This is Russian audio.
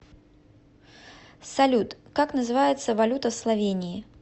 салют как называется валюта в словении